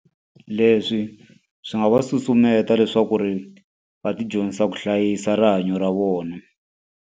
Leswi swi nga va susumeta leswaku ri va ti dyondzisa ku hlayisa rihanyo ra vona.